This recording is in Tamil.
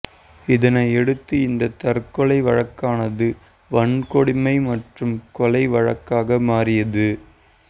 இதனையடுத்து இந்த தற்கொலை வழக்கானது வன்கொடுமை மற்றும் கொலை வழக்காக மாறியது